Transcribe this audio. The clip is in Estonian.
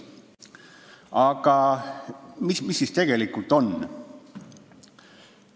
Aga mis siis tegelikult on?